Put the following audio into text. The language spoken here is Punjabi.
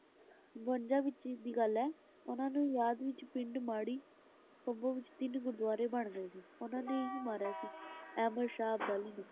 ਬਵੰਜਾ ਵਿਚ ਦੀ ਗੱਲ ਹੈ। ਉਹਨਾ ਦੀ ਯਾਦ ਵਿਚ ਪਿੰਡ ਮਾੜੀ ਕੰਬੋ ਵਿਚ ਤਿੰਨ ਗੁਰਦੁਵਾਰੇ ਬਣ ਰਹੇ ਸੀ। ਉਹਨਾ ਨੇ ਹੀ ਮਾਰਿਆ ਸੀ ਅਹਿਮਦ ਸ਼ਾਹ ਅਬਦਾਲੀ ਨੇ,